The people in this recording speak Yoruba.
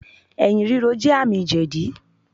Ẹ̀̀yìn rírò jẹ́ àmì jẹ̀dí.